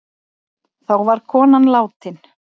Þá var konan látin.